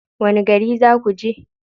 Wani gari za ku je?